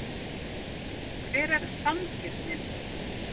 Hver er sanngirnin?